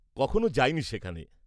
-কখনো যাইনি সেখানে।